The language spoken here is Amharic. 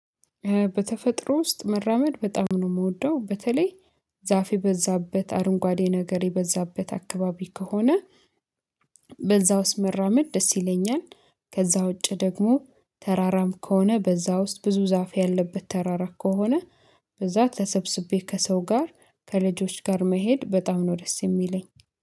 በተፈጥሮ ውስጥ መራመድ በጣም ነው የምወደው በተለይ ዛፍ የበዛበት አረንጓዴ ነገር የበዛበት አካባቢ ከሆነ በዛ ውስጥ መራመድ ደስ ይለኛል። ከዛ ውጪ ደግሞ ተራራም ከሆነ በዛ ውስጥ ብዙ ዛፍ ያለበት ተራራ ከሆነ በዛ ተሰብስቤ ከሰው ጋር ከልጆች ጋር መሄድ በጣም ነው ደስ የሚለኝ።